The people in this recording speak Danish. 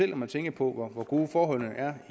når man tænker på hvor gode forholdene er